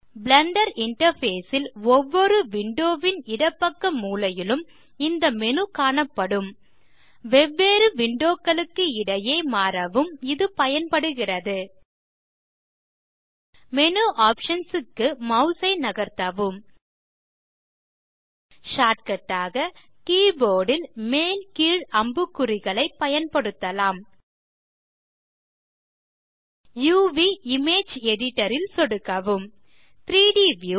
Blender interface ல் ஒவ்வொரு window ன் இடப்பக்க மூலையிலும் இந்த மேனு காணப்படும் வெவ்வேறு விண்டோ களுக்கு இடையே மாறவும் இது பயன்படுகிறது மேனு ஆப்ஷன்ஸ் க்கு மாஸ் ஐ நகர்ததவும் ஷார்ட்கட் ஆக கீபோர்ட் ல் மேல் கீழ் அம்புக்குறிகளையும் பயன்படுத்தலாம் uvஇமேஜ் எடிட்டர் ல் சொடுக்கவும் 3ட் வியூ